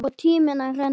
Og tíminn að renna út.